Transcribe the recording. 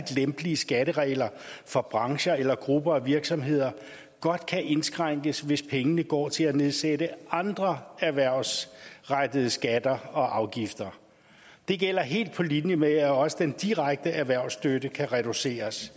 lempelige skatteregler for brancher eller grupper af virksomheder godt kan indskrænkes hvis pengene går til at nedsætte andre erhvervsrettede skatter og afgifter det gælder helt på linje med at også den direkte erhvervsstøtte kan reduceres